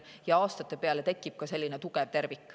Ja aastate peale tekib siis ka tugev tervik.